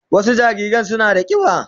Wasu jariran suna da kiba.